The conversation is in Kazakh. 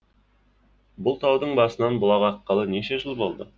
бұл таудың басынан бұлақ аққалы неше жыл болды